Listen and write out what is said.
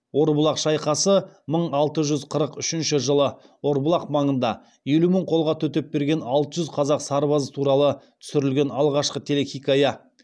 орбұлақ шайқасы мың алты жүз қырық үшінші жылы орбұлақ маңында елу мың қолға төтеп берген алты жүз қазақ сарбазы туралы түсірілген алғашқы телехикая